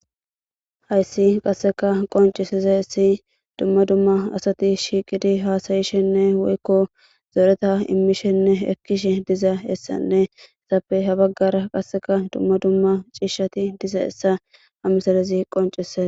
Hayssi qasseka qonciseza essi dumma dumma asati shiiqidi haasayishenne woykko zoreta immishenne ekkishe diza essanne esappe ha baggara qasseka dumma dumma ciishshati diza essa hamisalezi qoncise.